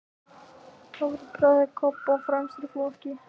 Þar voru bræður Kobba fremstir í flokki.